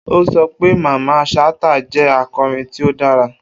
O sọ pe Mamman Shata jẹ akọrin ti o dara